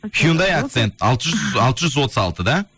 хюндай акцент алты жүз алты жүз отыз алты да